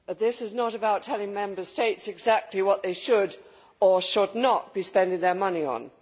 Mr President, this is not about telling Member States exactly what they should or should not be spending their money on.